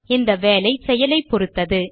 இந்த வேலை செயலைப்பொறுத்தது